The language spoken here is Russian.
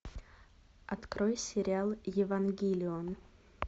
открой сериал евангелион